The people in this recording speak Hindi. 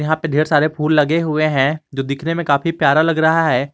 यहां पे ढेर सारे फूल लगे हुए हैं जो दिखने में काफी प्यारा लग रहा है।